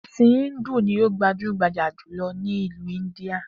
È̩sìn Íńdù ni ó gbajúgbajà jùlo̩ ní ìlú Íńdíà